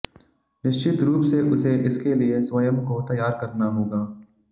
निश्चित रूप से उसे इसके लिए स्वयं को तैयार करना होगा